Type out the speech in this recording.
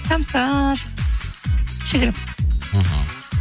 самса кішігірім мхм